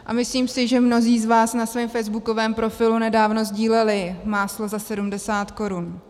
A myslím si, že mnozí z vás na svém facebookovém profilu nedávno sdíleli máslo za 70 korun.